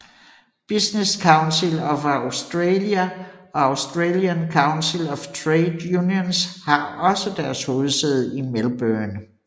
Business Council of Australia og Australian Council of Trade Unions har også deres hovedsæde i Melbourne